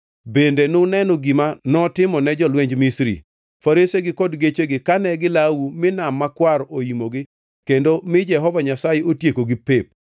Bende nuneno gima notimone jolwenj Misri, faresegi kod gechegi kane gilawou mi Nam Makwar oimogi kendo mi Jehova Nyasaye otiekogi pep.